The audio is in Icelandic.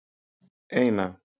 eina